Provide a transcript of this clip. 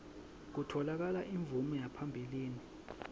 kutfola imvume yaphambilini